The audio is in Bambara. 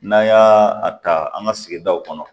N'an y'a a ta an ka sigidaw kɔnɔ